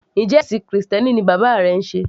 Njẹ́ ẹ̀ṣìn krìstẹ́nì ni bàbá rẹ ń sé?